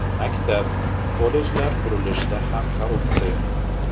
Maktab, kollejlar qurilishida ham korrupsiya.